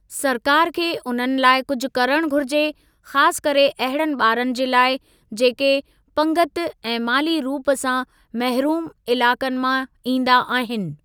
सरकार खे उन्हनि लाइ कुझु करणु घुरिजे, ख़ासि करे अहिड़नि ॿारनि जे लाइ, जेके पंगिती ऐं माली रूप सां महरूम इलाक़नि मां ईंदा आहिनि।